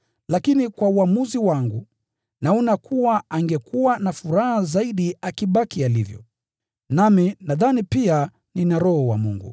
Lakini kwa maoni yangu, angekuwa na furaha zaidi akibaki alivyo. Nami nadhani pia nina Roho wa Mungu.